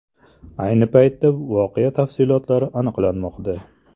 Ayni paytda voqea tafsilotlari aniqlanmoqda.